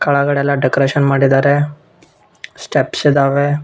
ಕೆಳಗಡೆ ಎಲ್ಲ ಡೆಕೋರೇಷನ್ ಮಾಡಿದಾರೆ ಸ್ಟೆಪ್ಸ್ ಇದ್ದಾವೆ.